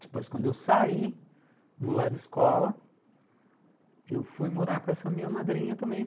Depois, quando eu saí do lar de escola, eu fui morar com essa minha madrinha também.